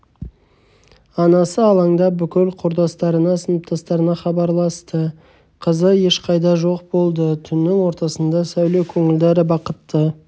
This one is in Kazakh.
анасы алаңдап бүкіл құрдастарына сыныптастарына хабарласты қызы ешқайда жоқ болды түннің ортасында сәуле көңілді әрі бақытты